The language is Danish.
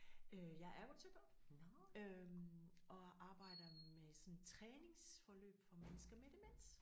Øh jeg er ergoterapeut øh og arbejder med sådan træningsforløb for mennesker med demens